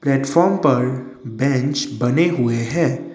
Platform पर bench बने हुए है।